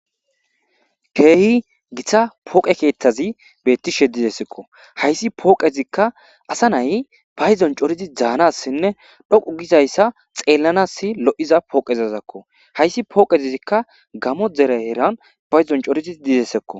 keehi giththa pooqe keeththazi bettishe dizessekko hayssi pooqezikka asa nay payzon corizi dzaanassinne dhoqu gizayssa xeellanas lo7iza pooqezazakko hayssi pooqeizikka gamo dereeran payzon corizi dizesekko